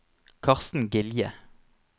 Karsten Gilje